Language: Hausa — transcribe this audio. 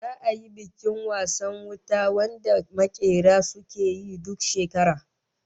Za'a yi bikin wasan wuta wanda makera suke yi duk shekara